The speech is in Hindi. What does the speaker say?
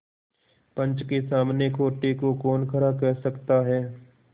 पंच के सामने खोटे को कौन खरा कह सकता है